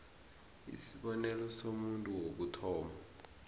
isibonelo somuntu wokuthoma